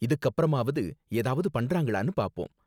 இதுக்கப்பறமாவது ஏதாவது பண்றாங்களானு பார்ப்போம்.